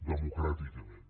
democràticament